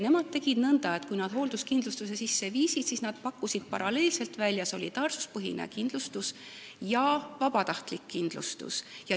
Nemad tegid nõnda, et kui nad hoolduskindlustuse sisse viisid, siis nad pakkusid paralleelselt välja solidaarsuspõhist ja vabatahtlikku kindlustust.